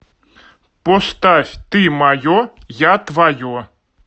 поставь ты мое я твое